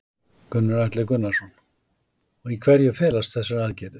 Gunnar Atli Gunnarsson: Í hverju felast þessa aðgerðir?